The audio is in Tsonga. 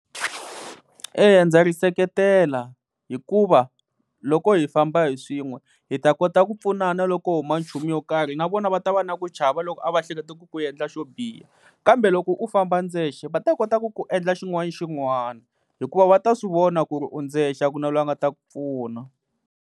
Eya ndza ri seketela, hikuva loko hi famba hi swin'we hi ta kota ku pfunana loko huma nchumu yo karhi na vona va ta va na ku chava loko a va ehleketa ku ku endla xo biha kambe loko u famba ndzexe va ta kota ku ku endla xin'wana na xin'wana hikuva va ta swi vona ku ri u ndzexe a ku na loyi a nga ta ku pfuna.